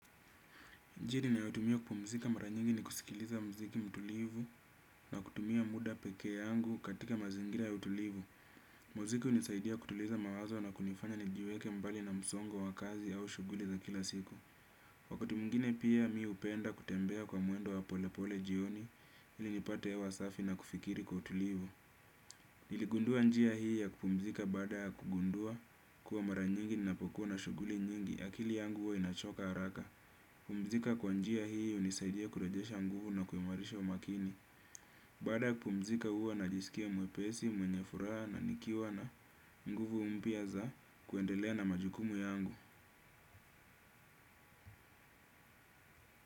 Njiri nayotumia kupumzika mara nyingi ni kusikiliza mziki mtulivu na kutumia muda pekee yangu katika mazingira ya utulivu. Muziki hunisaidia kutuliza mawazo na kunifanya nijiweke mbali na msongo wa kazi au shughuli za kila siku. Wakati mwingine pia, mi hupenda kutembea kwa mwendo wa pole pole jioni ili nipate hewa safi na kufikiri kwa utulivu. Niligundua njia hii ya kupumzika baada ya kugundua kuwa mara nyingi ninapokuwa na shuguli nyingi. Akili yangu huwa inachoka haraka. Pumzika kwa njia hii hunisaidia kurejesha nguvu na kuimarisha umakini. Baada ya kupumzika huwa najisikia mwepesi, mwenye furaha na nikiwa na nguvu mpya za kuendelea na majukumu yangu.